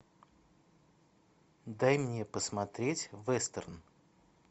дай мне посмотреть вестерн